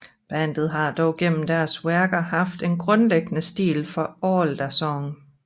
Bandet har dog gennem deres værker haft en grundlæggende stil for alle deres sange